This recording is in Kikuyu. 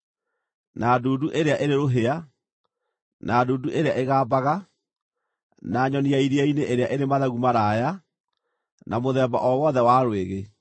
na ndundu ĩrĩa ĩrĩ rũhĩa, na ndundu ĩrĩa ĩgambaga, na nyoni ya iria-inĩ ĩrĩa ĩrĩ mathagu maraaya, na mũthemba o wothe wa rwĩgĩ,